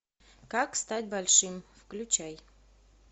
как стать большим включай